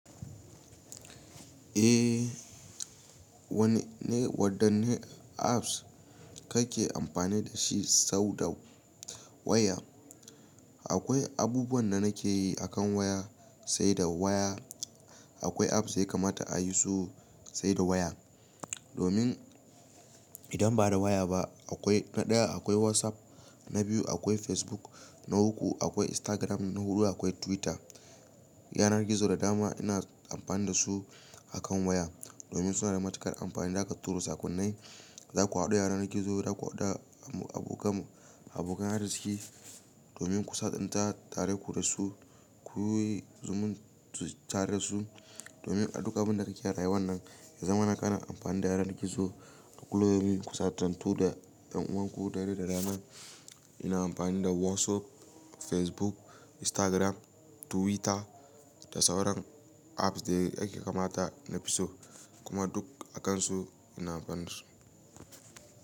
Eh, wanne wadanne apps kake amfani da shi sau da waya? Akwai abubuwan da nake yi akan waya, sai da waya. Akwai apps da yakamata ai su sai da waya. Domin idan ba da waya ba akwai na ɗaya akwai WhatsApp, na biyu akwai Facebook, na uku akwai Instagram, na hudu akwai Twitter. Yanar gizo da dama ina amfani da su akan waya. Domin suna da matuƙar amfani, zaka tura sakonnai, zaku haɗu a yanar gizo, zaku haɗu da abokan abokan arziki. Domin ku sadanta tare ku da su, kuyi zumun tare da su. Domin a duk abin da kake rayuwa nan, ya zama na kana amfani da yanar gizo. Kulluyaumin ku sa sasantu da ƴan uwanku dare da rana. Ina amfani da WhatsApp, Facebook, Instagram, Twitter da sauran apps da ake kamata na fi so. Kuma duk a kansu ina amfani da su.